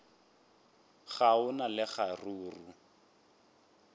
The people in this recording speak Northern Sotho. ga go na le kgaruru